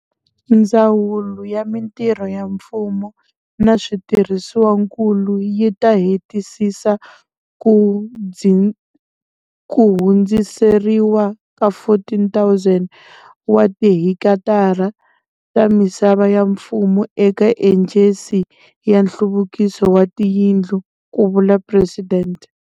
Ndzawulo ya Mitirho ya Mfumo na Switirhisiwankulu yi ta hetisisa ku hundziseriwa ka 14 000 wa tihekitara ta misava ya mfumo eka Ejensi ya Nhluvukiso wa Tiyindlu, ku vula Presidente.